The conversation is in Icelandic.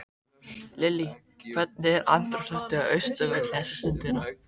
Lillý, hvernig er andrúmsloftið á Austurvelli þessa stundina?